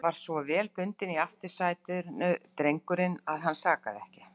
Hann var svo vel bundinn í aftursætinu, drengurinn, að hann sakaði ekki.